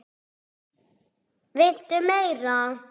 VILTU MEIRA?